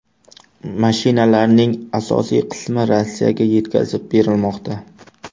Mashinalarning asosiy qismi Rossiyaga yetkazib berilmoqda.